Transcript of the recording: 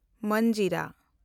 ᱢᱟᱱᱡᱤᱨᱟ